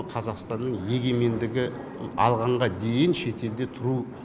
қазақстанның егемендігі алғанға дейін шетелде тұру